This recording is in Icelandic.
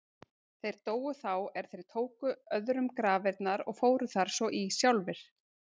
Þeir dóu þá er þeir tóku öðrum grafirnar og fóru þar svo í sjálfir.